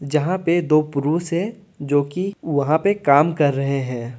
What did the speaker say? जहां पे दो पुरुष है जोकि वहा पे काम कर रहे हैं।